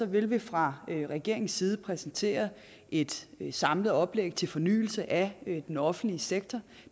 vil vi fra regeringens side præsentere et samlet oplæg til fornyelse af den offentlige sektor